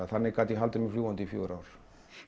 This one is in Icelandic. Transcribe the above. þannig gat ég haldið mér fljúgandi í fjögur ár